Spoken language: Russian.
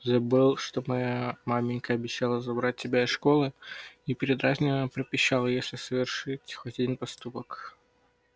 забыл что моя маменька обещала забрать тебя из школы и передразнивая пропищал если совершить хоть один поступок